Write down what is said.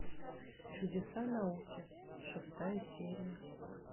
чудеса науки шестая серия